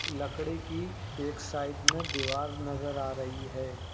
लकड़ी की एक साइड में दीवार नजर आ रही है।